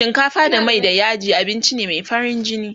shinkafa da Mai da yaji abinci ne Mai farin jini